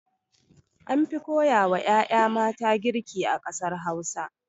Anfi koya ma 'ya'ya mata girki a ƙasar Hausa.